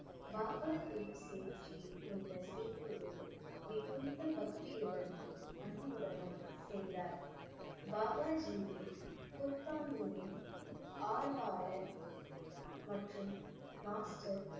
பாபா தீப் சிங் ஜி இந்த சேவையை மிகுந்த பக்தியுடனும் அன்புடனும் செய்தார் பாபாஜியே குர்பானியின் ஆர்வாளர் மற்றும் master